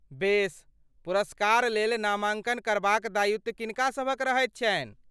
बेस, पुरस्कार लेल नामाङ्कन करबाक दायित्व किनका सभक रहैत छनि?